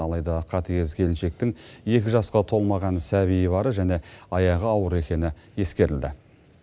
алайда қатыгез келіншектің екі жасқа толмаған сәбиі бары және аяғы ауыр екені ескерілді